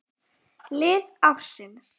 Lið ársins